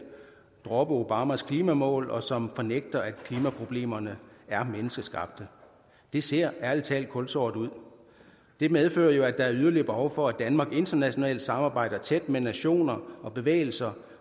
droppe obamas klimamål og som fornægter at klimaproblemerne er menneskeskabte det ser ærlig talt kulsort ud det medfører jo at der er yderligere behov for at danmark internationalt samarbejder tæt med nationer og bevægelser